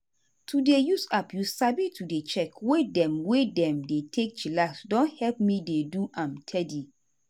to dey use app you sabi to dey check way dem wey dem take dey chillax don help me dey do am teady.